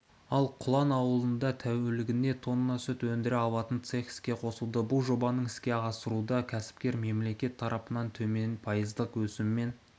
ал құлан ауылында тәулігіне тонна сүтті өндіре алатын цех іске қосылды бұл жобаның іске асыруда кәсіпкер мемлекет тарапынан төмен пайыздық өсіммен